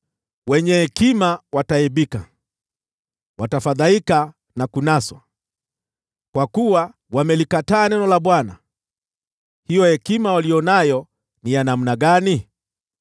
Wenye hekima wataaibika, watafadhaika na kunaswa. Kwa kuwa wamelikataa neno la Bwana , hiyo hekima waliyo nayo ni ya namna gani?